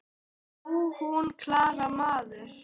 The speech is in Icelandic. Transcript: Nú, hún Klara, maður!